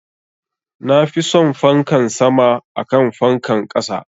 Nafi son fankan sama akan fankan ƙasa